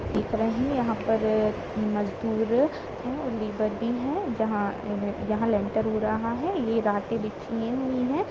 देख रहे है यहां पर मजदूर है और लेबर भी है जहा न ए लेंटर हो रहा है ये रॉट ए बिछी हुई है।